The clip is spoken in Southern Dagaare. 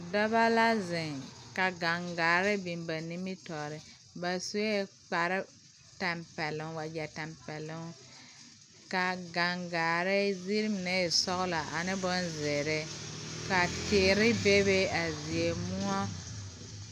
Dɔbɔ la zeŋ ka gaŋgaare biŋ ba nimitoore ba suee kpare tampɛloŋ wagyɛ tampɛloŋ kaa gaŋgaare zeere mine e sɔglɔ ane bonzeere ka teere bebe a zie moɔ.